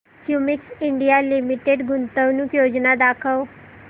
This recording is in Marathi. क्युमिंस इंडिया लिमिटेड गुंतवणूक योजना दाखव